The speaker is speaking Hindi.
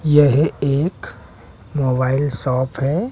यह एक मोबाइल शॉप है।